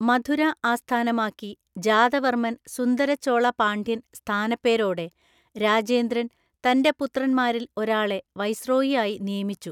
മധുര ആസ്ഥാനമാക്കി ജാതവർമൻ സുന്ദരചോള പാണ്ഡ്യന്‍ സ്ഥാനപ്പേരോടെ രാജേന്ദ്രന്‍ തന്റെ പുത്രന്മാരിൽ ഒരാളെ വൈസ്രോയിയായി നിയമിച്ചു.